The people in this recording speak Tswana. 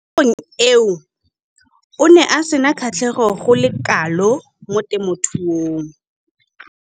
Mo nakong eo o ne a sena kgatlhego go le kalo mo temothuong.